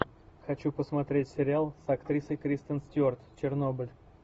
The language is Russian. хочу посмотреть сериал с актрисой кристен стюарт чернобыль